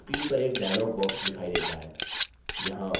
screen पर एक dialog box दिखाई देता है